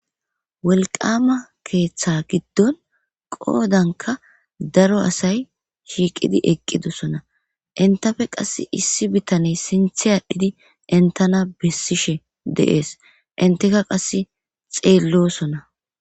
wolqama keeththa giddon qoodanka daro asay shiiqidi eqqidosona. entappe qas issi bitaney sinthe aadhdhidi entana bessishe deees enttikka qasse xeellosona